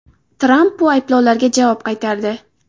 Tramp bu ayblovlarga javob qaytardi.